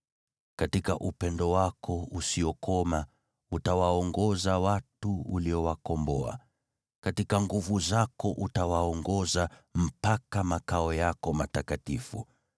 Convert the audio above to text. “Katika upendo wako usiokoma utawaongoza watu uliowakomboa. Katika nguvu zako utawaongoza mpaka makao yako matakatifu.